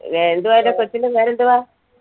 എന്തുവാ അവരുടെ കൊച്ചിന്റെ പേരെന്തുവാ